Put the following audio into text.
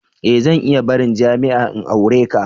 E! Zan iya barin jami'a in aure ka.